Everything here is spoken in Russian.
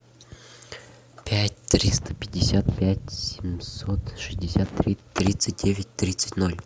пять триста пятьдесят пять семьсот шестьдесят три тридцать девять тридцать ноль